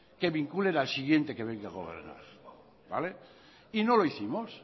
que vinculen al siguiente que venga a gobernar y no lo hicimos